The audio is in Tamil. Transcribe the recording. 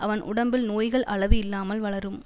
அவன் உடம்பில் நோய்கள் அளவு இல்லாமல் வளரும்